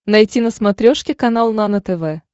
найти на смотрешке канал нано тв